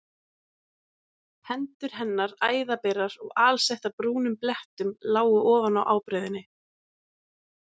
Hendur hennar, æðaberar og alsettar brúnum blettum lágu ofan á ábreiðunni.